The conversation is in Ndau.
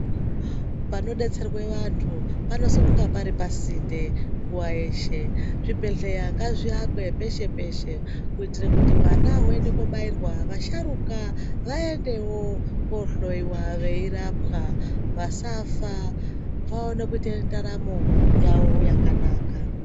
Panodetserwa antu panofana kunge pari pasinde nguwa yeshe zvibhedhlera ngazviakwe peshe-peshe kuitira kuti hwana hunoenda kobairwa asharukwa vaendewo kohloiwa veirapwa vasafa vaone kuita ndaramo yawo yakanaka.